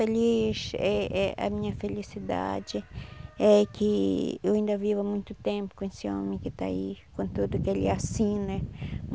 Feliz eh eh a minha felicidade é que eu ainda viva muito tempo com esse homem que está aí, com tudo que ele é assim, né?